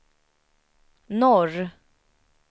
norr